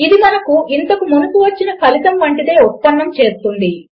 ఇది మనకు ఇంతకు మునుపు వచ్చిన ఫలితము వంటిదే ఉత్పన్నము చేస్తుంది